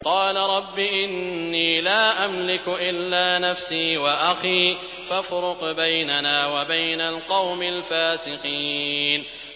قَالَ رَبِّ إِنِّي لَا أَمْلِكُ إِلَّا نَفْسِي وَأَخِي ۖ فَافْرُقْ بَيْنَنَا وَبَيْنَ الْقَوْمِ الْفَاسِقِينَ